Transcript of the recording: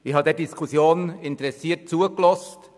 Ich habe dieser Diskussion mit Interesse zugehört.